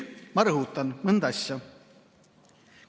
Ma rõhutan mõnda asja.